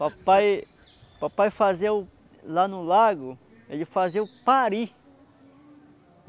Papai, papai fazia o lá no lago, ele fazia o pari.